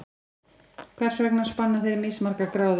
Hvers vegna spanna þeir mismargar gráður?